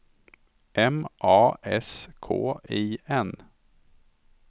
M A S K I N